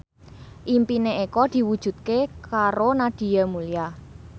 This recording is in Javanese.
impine Eko diwujudke karo Nadia Mulya